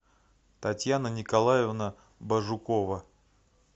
татьяна николаевна божукова